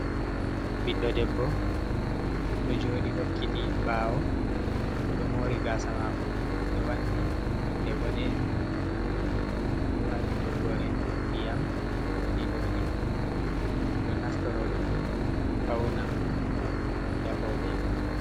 Ɓiɗɗo debbo ɗo jooɗi hokkiti ɓawo, oɗo moori gasa mako ka ɓe wanni nonde boɗejum, bo ɗo wati toggore ndiyam ndondi ndondi, roɓe ɗo naftoraɗum on ɓe fauna ngam ɓe bedda mboɗe nga.